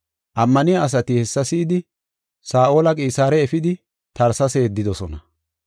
Ammaniya asati hessa si7idi, Saa7oli Qisaare efidi Tarsesa yeddidosona.